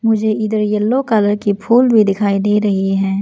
मुझे इधर yellow colour की फुल भी दिखाई दे रही है।